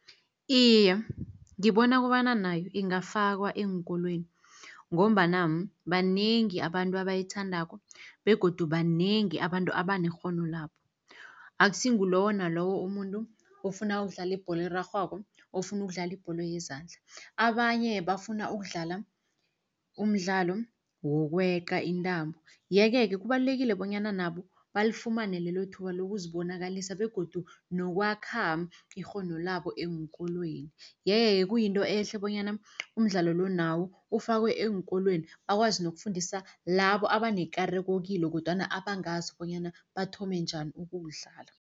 Iye, ngibona kobana nayo ingafakwa eenkolweni, ngombana banengi abantu abayithandako begodu banengi abantu abanekghono lawo. Akusi ngulowo nalowo umuntu ofuna ukudlala ibholo erarhwako, ofuna ukudlala ibholo yezandla, abanye bafuna ukudlala umdlalo wokweqa intambo. Yeke-ke kubalulekile bonyana nabo balifumane lelo thuba lokuzibonakalisa begodu nokwakha ikghono labo eenkolweni. Yeke-ke kuyinto ehle bonyana umdlalo lo nawo ufakwe eenkolweni, bakwazi nokufundisa labo abanekareko kilo kodwana abangazi bonyana bathome njani ukuwudlala.